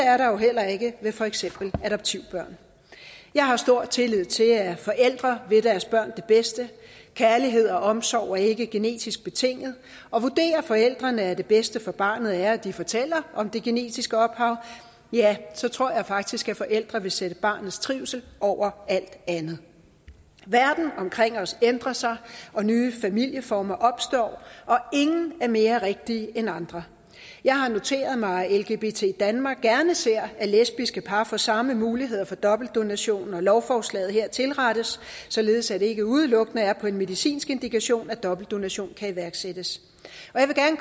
er der jo heller ikke ved for eksempel adoptivbørn jeg har stor tillid til at forældre vil deres børn det bedste kærlighed og omsorg er ikke genetisk betinget og vurderer forældrene at det bedste for barnet er at de fortæller om det genetiske ophav ja så tror jeg faktisk at forældre vil sætte barnets trivsel over alt andet verden omkring os ændrer sig nye familieformer opstår og ingen er mere rigtige end andre jeg har noteret mig at lgbt danmark gerne ser at lesbiske par får samme muligheder for dobbeltdonation når lovforslaget her tilrettes således at det ikke udelukkende er på en medicinsk indikation at dobbeltdonation kan iværksættes